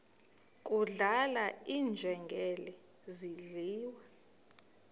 kudlala iinjengele zidliwa